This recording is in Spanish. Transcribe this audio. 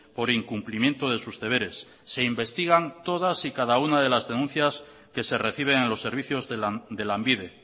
por incumplimiento de sus deberes se investigan todas y cada una de las denuncias que se reciben en los servicios de lanbide